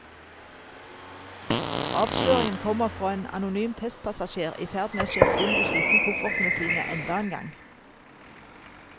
Avsløringen kommer fra en anonym testpassasjer i ferd med å sjekke inn de slitne koffertene sine enda en gang.